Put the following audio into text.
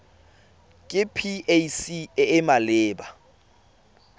ke pac e e maleba